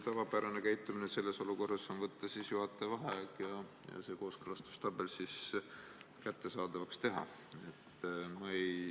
Tavapärane käitumine selles olukorras on võtta juhataja vaheaeg ja see kooskõlastustabel kättesaadavaks teha.